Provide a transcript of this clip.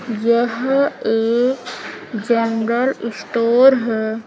यह एक general store है।